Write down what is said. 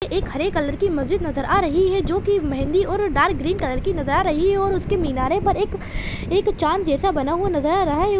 एक हरे कलर की मस्जिद नज़र आ रही है जो की मेंहदी और डार्क ग्रीन कलर की नज़र आ रही है और उसके मीनारे पर एक एक चाँद जैसा बना हुआ नज़र आ रहा है।